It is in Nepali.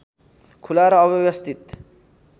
खुला र अव्यवस्थित